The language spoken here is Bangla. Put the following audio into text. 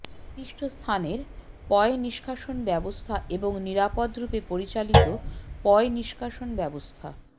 নির্দিষ্ট স্থানের পয়ঃনিষ্কাশন ব্যবস্থা এবং নিরাপদরূপে পরিচালিত পয়ঃনিষ্কাশন ব্যবস্থা